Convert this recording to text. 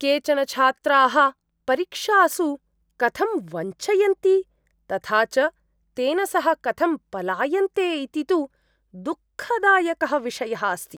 केचन छात्राः परीक्षासु कथं वञ्चयन्ति तथा च तेन सह कथं पलायन्ते इति तु दुःखदायकः विषयः अस्ति।